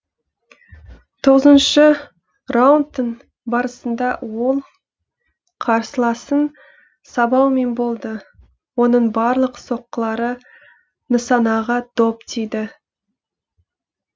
тоғызыншы раундтың барысында ол қарсыласын сабаумен болды оның барлық соққылары нысанаға дөп тиді